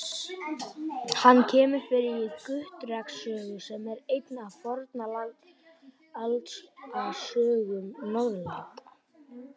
Hann kemur fyrir í Gautreks sögu, sem er ein af Fornaldarsögum Norðurlanda.